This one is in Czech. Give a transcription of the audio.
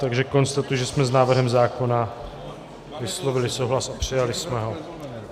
Takže konstatuji, že jsme s návrhem zákona vyslovili souhlas a přijali jsme ho.